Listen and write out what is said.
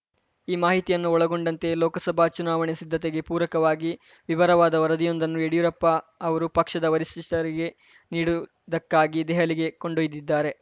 ಈ ಮಾಹಿತಿಯನ್ನು ಒಳಗೊಂಡಂತೆ ಲೋಕಸಭಾ ಚುನಾವಣೆ ಸಿದ್ಧತೆಗೆ ಪೂರಕವಾಗಿ ವಿವರವಾದ ವರದಿಯೊಂದನ್ನು ಯಡಿಯೂರಪ್ಪ ಅವರು ಪಕ್ಷದ ವರಿಷ್ಠಶಿಷ್ಟರಿಗೆ ನೀಡುವುದಕ್ಕಾಗಿ ದೆಹಲಿಗೆ ಕೊಂಡೊಯ್ದಿದ್ದಾರೆ